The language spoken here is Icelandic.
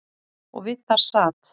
Og við það sat.